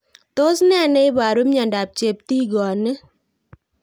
Tos nee neiparu miondop cheptig'oniet